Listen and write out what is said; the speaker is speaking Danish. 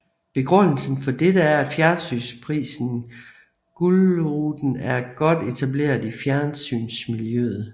Begrundelsen for dette er at fjernsynsprisen Gullruten er godt etableret i fjernsynsmiljøet